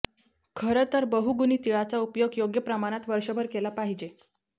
खरंतर बहुगुणी तिळाचा उपयोग योग्य प्रमाणात वर्षभर केला पाहिजे